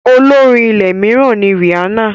Olórin ilẹ̀ mìíràn ni Rìhánà.